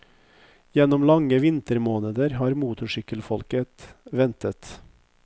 Gjennom lange vintermåneder har motorsykkelfolket ventet.